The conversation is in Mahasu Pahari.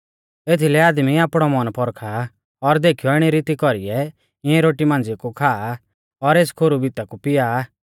एथीलै आदमी आपणौ मन पौरखा और देखीयौ इणी रीती कौरीऐ इऐं रोटी मांझ़िया कु खा और एस खोरु भिता कु पिया